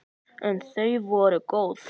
En þau voru góð.